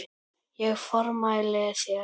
Ég formæli þér